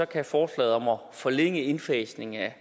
kan forslaget om at forlænge en indfasning af